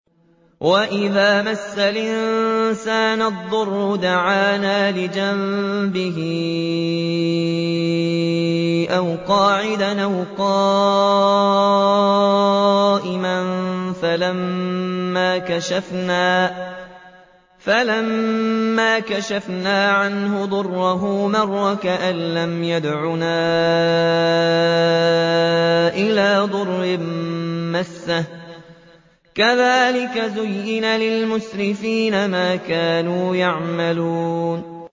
وَإِذَا مَسَّ الْإِنسَانَ الضُّرُّ دَعَانَا لِجَنبِهِ أَوْ قَاعِدًا أَوْ قَائِمًا فَلَمَّا كَشَفْنَا عَنْهُ ضُرَّهُ مَرَّ كَأَن لَّمْ يَدْعُنَا إِلَىٰ ضُرٍّ مَّسَّهُ ۚ كَذَٰلِكَ زُيِّنَ لِلْمُسْرِفِينَ مَا كَانُوا يَعْمَلُونَ